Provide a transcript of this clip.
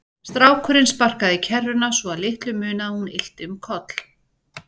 Strákurinn sparkaði í kerruna svo að litlu munaði að hún ylti um koll.